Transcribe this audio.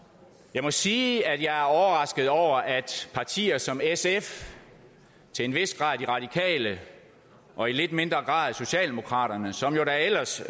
jeg må sige at jeg er overrasket over at partier som sf til en vis grad de radikale og i lidt mindre grad socialdemokraterne som jo da ellers